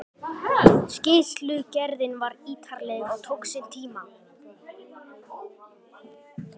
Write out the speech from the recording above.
Skýrslugerðin var ítarleg og tók sinn tíma.